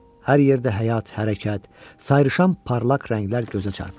Hər yerdə həyat, hərəkət, sayrışan parlaq rənglər gözə çarpır.